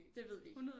Det ved vi ikke